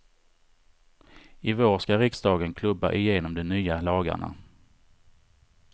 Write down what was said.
I vår ska riksdagen klubba igenom de nya lagarna.